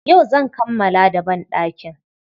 Yau zan kammala da banɗakin.